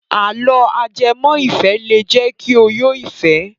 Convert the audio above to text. Àlọ́ ajẹmọ́-ìfẹ́ lè jẹ́ kí o yó fẹ̀ẹ́.